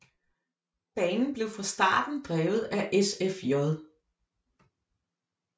Banen blev fra starten drevet af SFJ